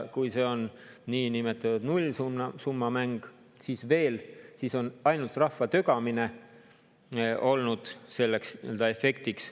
Kui see on niinimetatud nullsummamäng, siis on ainult rahva tögamine olnud selleks nii-öelda efektiks.